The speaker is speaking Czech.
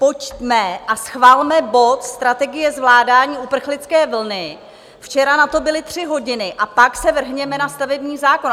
Pojďme a schvalme bod Strategie zvládání uprchlické vlny, včera na to byly tři hodiny, a pak se vrhněme na stavební zákon.